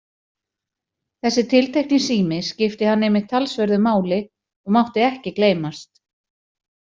Þessi tiltekni sími skipti hann einmitt talsverðu máli og mátti ekki gleymast.